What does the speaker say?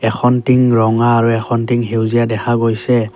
এখন টিং ৰঙা আৰু এখন টিং সেউজীয়া দেখা গৈছে।